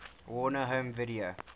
warner home video